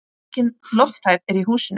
Aukin lofthæð er í húsinu.